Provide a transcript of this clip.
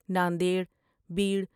Nanded, Beed.